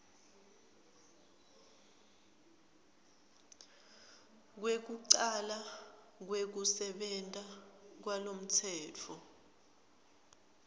kwekucala kwekusebenta kwalomtsetfo